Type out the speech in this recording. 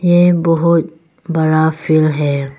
ये बहोत बड़ा फिल्ड है।